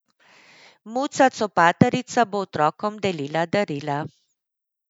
Muca Copatarica bo otrokom delila darila.